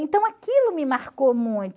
Então, aquilo me marcou muito.